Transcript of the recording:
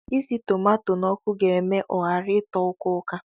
Isi tomato n'ọkụ ga eme ọ ghara ịtọ uka-uka